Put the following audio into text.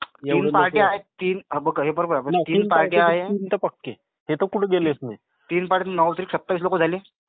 तीन पार्ट्य आहेत हे तर पक्के. हे तर कुठ गेलेच नाहीत. तीन पार्टी नऊ त्रिक सत्तावीस झाले.